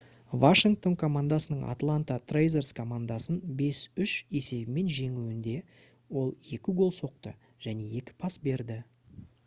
washington командасының atlanta thrashers командасын 5:3 есебімен жеңуінде ол 2 гол соқты және 2 пас берді